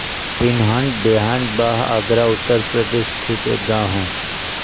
पिनहट देहात बाह आगरा उत्तर प्रदेश स्थित एक गाँव है